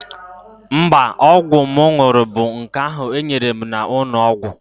Mba, ọgwụ m ṅụrụ bụ nke ahụ e nyere m n'ụlọ ọgwụ.